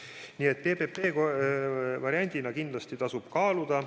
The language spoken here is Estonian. Nii et PPP varianti kindlasti tasub kaaluda.